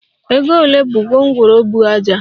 Ego ole bu gwongworo buu ájá?